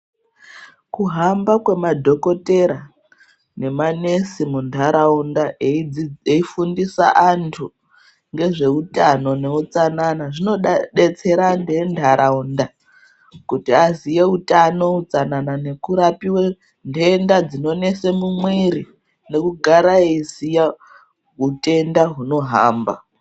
Kuhamba kwemadhokotera ngemanesi muntaraunda eifundisa natu ngezveutano neutsanana zvinodetsera antu entaraunda kuti aziye utano tsanana nekurapiwe ndenda dzinonese mumwiri nekugara eiziya hutenda hunohamba.